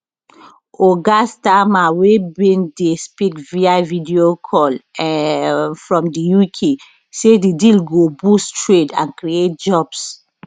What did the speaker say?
oga starmer wey bin dey speak via videocall um from di uk say di deal go boost trade and create jobs